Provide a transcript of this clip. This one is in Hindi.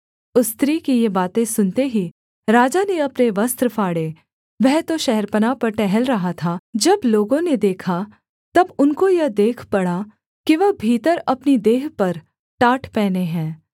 उस स्त्री की ये बातें सुनते ही राजा ने अपने वस्त्र फाड़े वह तो शहरपनाह पर टहल रहा था जब लोगों ने देखा तब उनको यह देख पड़ा कि वह भीतर अपनी देह पर टाट पहने है